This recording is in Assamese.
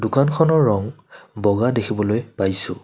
দোকানখনৰ ৰং বগা দেখিবলৈ পাইছোঁ।